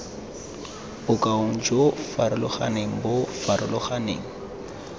bokaong jo farologaneng bo farologaneng